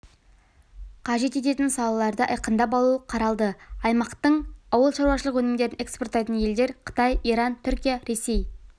қажет ететін салаларды айқындап алу қаралды аймақтың ауылшаруашылық өнімдерін экспорттайтын елдер қытай иран түркия ресей